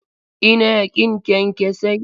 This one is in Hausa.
Ina ƙin kyankyasai.